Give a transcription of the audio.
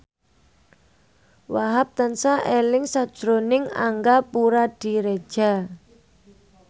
Wahhab tansah eling sakjroning Angga Puradiredja